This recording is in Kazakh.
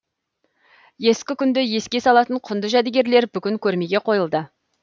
ескі күнді еске салатын құнды жәдігерлер бүгін көрмеге қойылды